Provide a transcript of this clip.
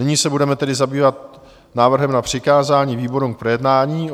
Nyní se budeme tedy zabývat návrhem na přikázání výborům k projednání.